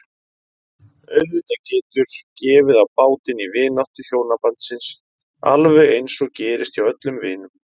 Auðvitað getur gefið á bátinn í vináttu hjónabandsins alveg eins og gerist hjá öllum vinum.